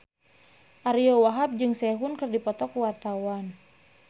Ariyo Wahab jeung Sehun keur dipoto ku wartawan